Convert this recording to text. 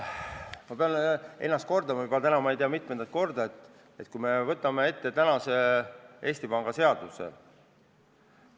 Ma pean ennast kordama juba ma ei tea, mitmendat korda: võtame ette praeguse Eesti Panga seaduse!